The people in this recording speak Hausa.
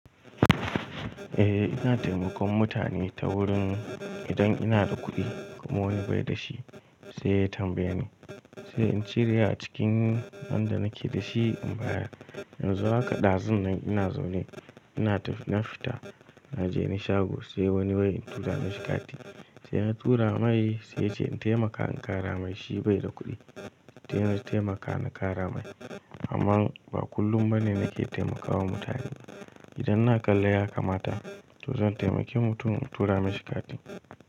Eh, ina taimakon mutane ta wurin idan ina da kuɗi, kuma wani bai da shi, sai ya tambaye ni, sai in cire a cikin wanda nake da shi in baya. Yanzu haka ɗazun ina zaune, ina na fita na je na shago sai wani wai in tura mashi kati. Sai na tura mai sai yace in taimaka in ƙara mai shi bai da kuɗi. Toh, ina taimaka na ƙara mai. Amman ba kullum ba ne nake taimakawa mutane. Idan na kalla ya kamata to zan taimaki mutum in tura mishi kati.